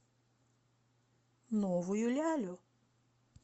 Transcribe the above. новую лялю